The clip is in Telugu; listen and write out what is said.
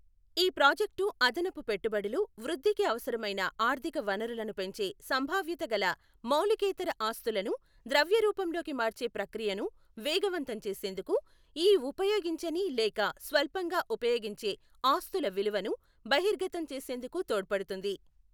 ఈ ప్రాజెక్టు అదనపు పెట్టుబడులు, వృద్ధికి అవసరమైన ఆర్థిక వనరులను పెంచే సంభావ్యతగల మౌలికేతర ఆస్తులను ద్రవ్య రూపంలోకి మార్చే ప్రక్రియను వేగవంతం చేసేందుకు, ఈ ఉపయోగించని లేక స్వల్పంగా ఉపయోగించే ఆస్తుల విలువను బహిర్గతం చేసేందుకు తోడ్పడుతుంది.